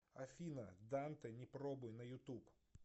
афина данте не пробуй на ютуб